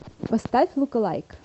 поставь лукалайк